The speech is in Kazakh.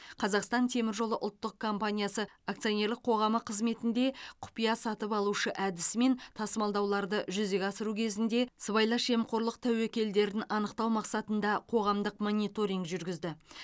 қазақстан темір жолы ұлттық компаниясы акционерлік қоғамы қызметінде құпия сатып алушы әдісімен тасымалдауларды жүзеге асыру кезінде сыбайлас жемқорлық тәуекелдерін анықтау мақсатында қоғамдық мониторинг жүргізді